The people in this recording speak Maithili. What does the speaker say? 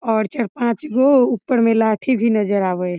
और चार-पांच गो ऊपर में लाठी भी नजर आवे हेय।